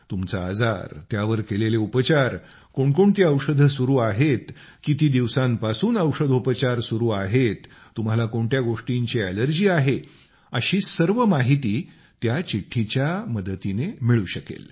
तुमचा आजार त्यावर केलेले उपचार कोणकोणती औषधं सुरू आहेत किती दिवसांपासून औषधोपचार सुरू आहेत तुम्हाला कोणत्या गोष्टींची अॅलर्जी आहे अशी सर्व माहिती त्या चिठ्ठीच्या मदतीने मिळू शकेल